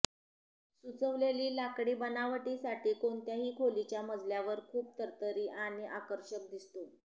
सुचवलेली लाकडी बनावटीसाठी कोणत्याही खोलीच्या मजल्यावर खूप तरतरी आणि आकर्षक दिसतो